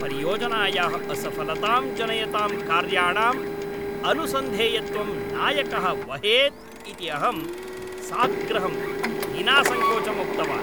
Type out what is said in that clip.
परियोजनायाः असफलतां जनयतां कार्याणाम् अनुसन्धेयत्वं नायकः वहेत् इति अहं साग्रहं विनासङ्कोचम् उक्तवान्।